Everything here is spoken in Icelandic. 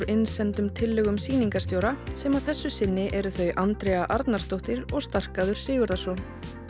innsendum tillögum sýningarstjóra sem að þessu sinni eru þau Andrea Arnarsdóttir og Starkaður Sigurðarson